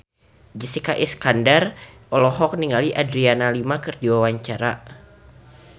Jessica Iskandar olohok ningali Adriana Lima keur diwawancara